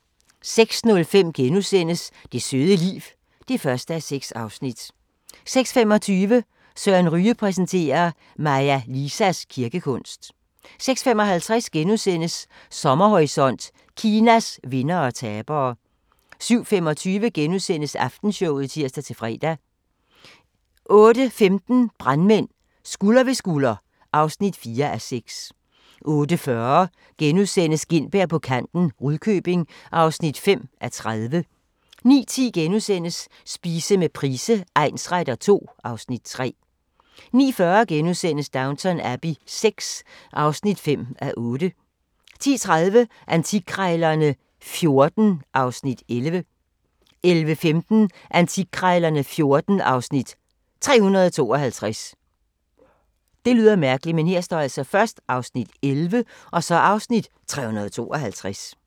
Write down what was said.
06:05: Det søde liv (1:6)* 06:25: Søren Ryge præsenterer: Maja Lisas kirkekunst 06:55: Sommerhorisont: Kinas vindere og tabere * 07:25: Aftenshowet *(tir-fre) 08:15: Brandmænd – Skulder ved skulder (4:6) 08:40: Gintberg på kanten – Rudkøbing (5:30)* 09:10: Spise med Price egnsretter II (Afs. 3)* 09:40: Downton Abbey VI (5:8)* 10:30: Antikkrejlerne XIV (Afs. 11) 11:15: Antikkrejlerne XIV (Afs. 352)